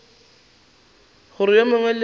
gore yo mongwe le yo